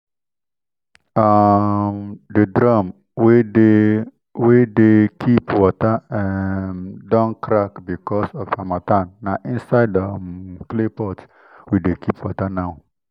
um the drum wey dey wey dey keep water um don crack because of harmattan na inside um clay pot we dey keep water now.